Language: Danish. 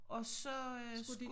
Og så øh skulle